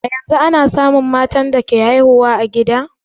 A yanzu ana samun matan da ke haihu a gida kuwa?